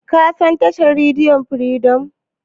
Ka san tashar rediyon Firidom?